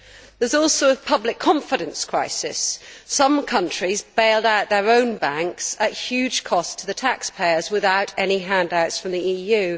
There is also a public confidence crisis. Some countries bailed out their own banks at huge cost to the taxpayers, without any handouts from the EU.